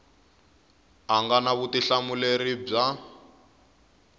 a nga na vutihlamuleri bya